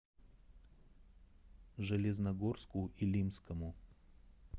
железногорску илимскому